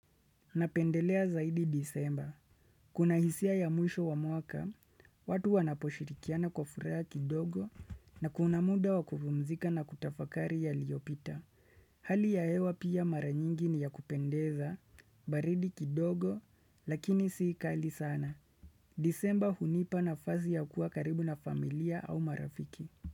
Napendelea zaidi disemba. Kuna hisia ya mwisho wa muaka, watu wanaposhirikiana kwa furaha kidogo na kuna muda wakupumzika na kutafakari yaliopita. Hali ya hewa pia mara nyingi ni ya kupendeza, baridi kidogo, lakini siikali sana. Disemba hunipa nafasi ya kuwa karibu na familia au marafiki.